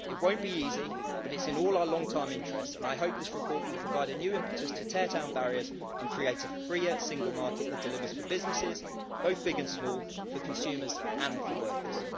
It won't be easy but it's in all our long-term interests, and I hope this report will provide a new impetus to tear down barriers and create a free single market that delivers for businesses both big and small for consumers and for workers.